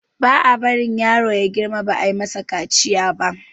ba a bari yaro ya girma ba ayi masa kaciya ba